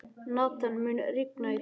Nathan, mun rigna í dag?